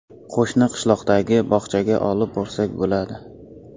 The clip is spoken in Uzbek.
Qo‘shni qishloqdagi bog‘chaga olib borsak bo‘ladi.